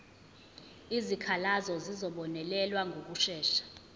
izikhalazo zizobonelelwa ngokushesha